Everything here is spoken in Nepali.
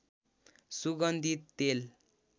सुगन्धित तेल